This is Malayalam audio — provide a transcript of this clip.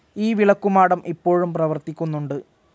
ഈ വിളക്കുമാടം ഇപ്പോഴും പ്രവർത്തിക്കുന്നുണ്ട്.